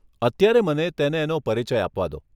અત્યારે મને તેને એનો પરિચય આપવા દો.